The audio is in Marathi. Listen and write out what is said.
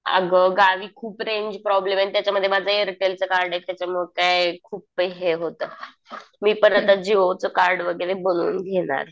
अगं गावी खूप रेंज प्रॉब्लेम आहे. आणि त्याच्यामध्ये माझं एअरटेलचं कार्ड आहे. त्याच्यामुळे काय खूप हे होतं. मी पण आता जिओच कार्ड वगैरे बनवून घेणार.